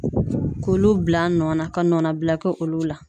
K'olu bila a nɔ na ka nɔnɔ bila kɛ olu la.